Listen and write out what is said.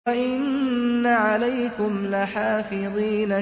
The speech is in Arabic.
وَإِنَّ عَلَيْكُمْ لَحَافِظِينَ